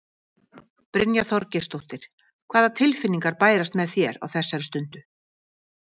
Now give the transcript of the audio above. Brynja Þorgeirsdóttir: Hvaða tilfinningar bærast með þér á þessari stundu?